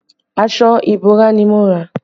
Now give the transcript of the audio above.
Aṣọ ìbora ni mo rà